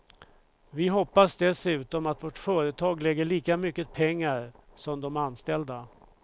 Vi hoppas dessutom att vårt företag lägger lika mycket pengar som de anställda.